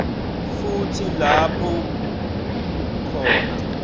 futsi lapho khona